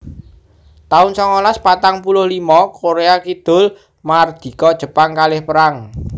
taun songolas patang puluh limo Korea Kidul mardika Jepang kalah perang